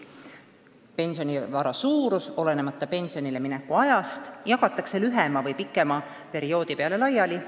Olemasolev pensionivara jagatakse olenemata pensionile mineku ajast lühema või pikema perioodi peale laiali.